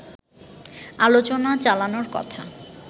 আলোচনা চালানোর কথা